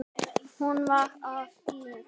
Hún bar af í reisn.